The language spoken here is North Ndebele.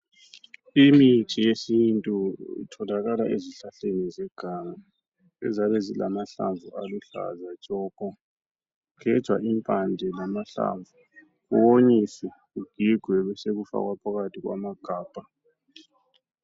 Imithi yesintu itholakala ezihlahleni zeganga eziyabe zilamahlamvu aluhlaza tshoko. Kugejwa impande lamahlamvu, kuwonyiswe, kugigwe besekufakwa phakathi kwamagabha.